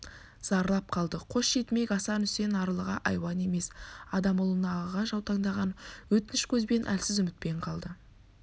зарлап қалды қос жетімек асан үсен арлыға айуан емес адам ұлына ағаға жаутаңдаған өтініш көзбен әлсіз үмітпен қалды